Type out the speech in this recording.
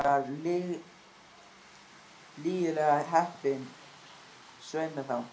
Ég var lygilega heppin, svei mér þá.